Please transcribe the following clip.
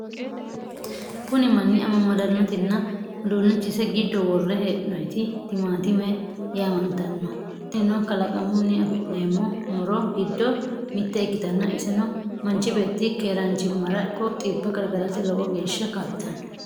Kuni mannu amamadannotinna udunnichise giddo worre hee'noyiti timatime yaamantanno. tinino kalaqamunni afi'neemmo muro giddo mitte ikkitanna iseno manchi beetti keeranchimara ikko xibba gargarate lowo geeshsa kaa'litanno.